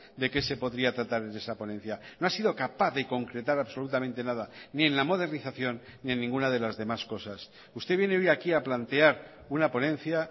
de qué se podría tratar en esa ponencia no ha sido capaz de concretar absolutamente nada ni en la modernización ni en ninguna de las demás cosas usted viene hoy aquí a plantear una ponencia